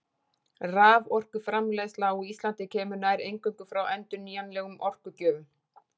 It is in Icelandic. Raforkuframleiðsla á Íslandi kemur nær eingöngu frá endurnýjanlegum orkugjöfum.